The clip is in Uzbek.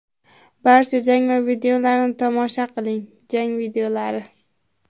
Barcha jang videolarini tomosha qiling → jang videolari .